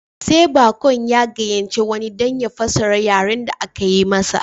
Sai baƙon ya gayyaci wani don ya fassara yaren da aka yi masa